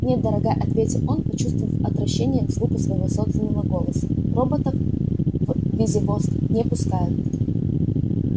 нет дорогая ответил он почувствовав отвращение к звуку своего собственного голоса роботов в визивоск не пускают